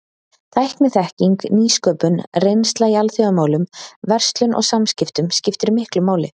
Tækniþekking, nýsköpun, reynsla í alþjóðamálum, verslun og samskiptum skiptir miklu máli.